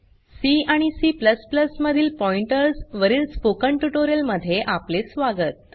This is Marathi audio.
सी आणि C मधील पॉइंटर्स वरील स्पोकन ट्यूटोरियल मध्ये आपले स्वागत